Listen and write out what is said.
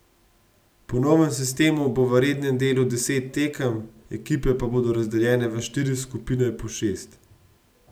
Po novem sistemu bo v rednem delu deset tekem, ekipe pa bodo razdeljene v štiri skupine po šest.